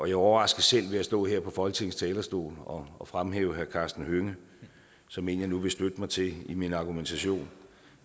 jeg overraskes selv ved at stå her på folketingets talerstol og fremhæve herre karsten hønge som en jeg nu vil støtte mig til i min argumentation